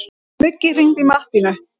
Muggi, hringdu í Mattínu.